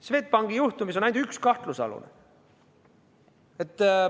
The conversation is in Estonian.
Swedbanki juhtumis on ainult üks kahtlusalune.